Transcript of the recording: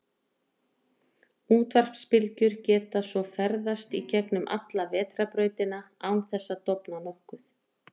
Útvarpsbylgjur geta svo ferðast í gegnum alla Vetrarbrautina án þessa að dofna nokkuð.